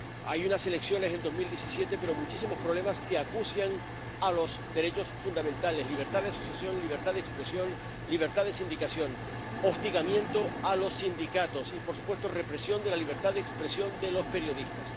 Hubo unas elecciones en 2018, pero sigue habiendo muchísimos problemas que acucian a los derechos fundamentales ——libertad de asociación, libertad de expresión, libertad de sindicación—, hostigamiento a los sindicatos y, por supuesto, represión de la libertad de expresión de los periodistas.